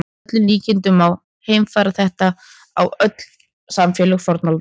Að öllum líkindum má heimfæra þetta upp á öll samfélög fornaldar.